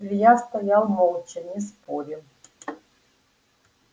илья стоял молча не спорил